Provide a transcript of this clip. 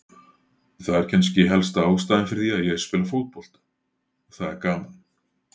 Það er kannski helsta ástæðan fyrir því að ég spila fótbolta, það er gaman.